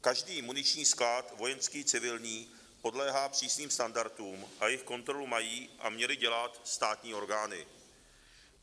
Každý muniční sklad, vojenský, civilní, podléhá přísným standardům a jejich kontrolu mají a měly dělat státní orgány.